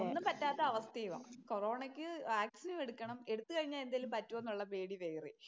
പറ്റാത്ത അവസ്ഥയാ. കൊറോണക്ക് വാക്സിനും എടുക്കണം. എടുത്ത് കഴിഞ്ഞാൽ എന്തെങ്കിലും പറ്റുമോ എന്ന് പേടി വേറെയും.